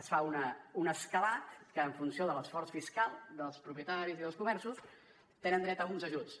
es fa un escalat que en funció de l’esforç fiscal dels propietaris i dels comerços tenen dret a uns ajuts